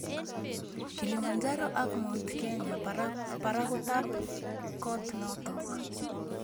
kilimanjaro ak mt kenya parakutap kot notok